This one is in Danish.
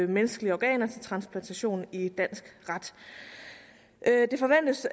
menneskelige organer til transplantation i dansk ret det forventes